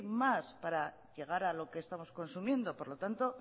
más para llegar a lo que estamos consumiendo por lo tanto